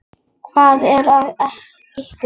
Hvað er að ykkur?